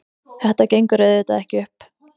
Þetta gengur auðvitað ekki upp.